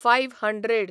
five hundred